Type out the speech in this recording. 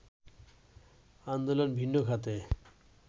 আন্দোলন ভিন্ন খাতে